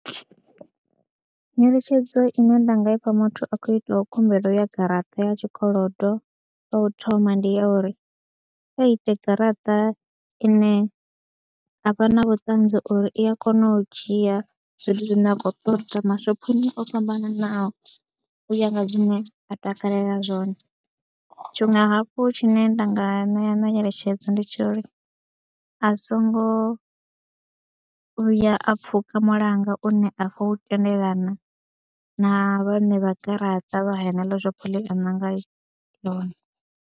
Nyeletshedzo ine nda nga ifha muthu a khou itaho khumbelo ya garaṱa ya tshikolodo, ya u thoma ndi ya uri kha ite garaṱa ine a vha na vhuṱanzi uri i a kona u dzhia zwithu zwine a khou ṱoḓa mashophoni o fhambananaho u ya nga zwine a takalela zwone. Tshiṅwe hafhu tshine nda nga ṋea na nyeletshedzo ndi tsha uri a songo vhuya a pfhuka mulanga une a khou u tendelana na vhaṋe vha garaṱa vha haneḽo shophoni ḽe a ṋanga ḽone.